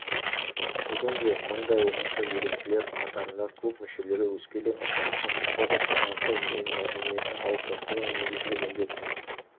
бүгінде мыңдай оқушы еріктілер қатарында клуб мүшелері өскелең ұрпақтың құқықтық санасы мен мәдениетін қалыптастыру негізгі міндетіміз